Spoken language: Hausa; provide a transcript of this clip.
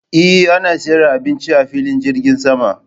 Eh ana siyar da abinci a filin jirgin sama.